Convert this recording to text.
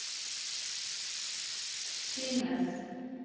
synes